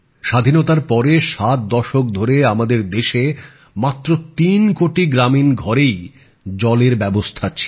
স্বাধীনতার পরে ৭ দশক ধরে আমাদের দেশে মাত্র ৩ কোটি গ্রামীণ ঘরেই জলের ব্যাবস্থা ছিল